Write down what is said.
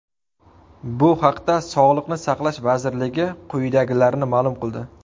Bu haqda Sog‘liqni saqlash vaziriligi quyidagilarni ma’lum qildi.